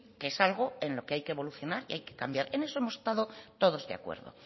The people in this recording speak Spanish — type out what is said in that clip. que es algo en lo que hay que evolucionar y hay que cambiar en eso hemos estado todos de acuerdo